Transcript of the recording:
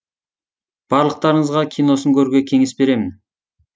барлықтарыңызға киносын көруге кеңес беремін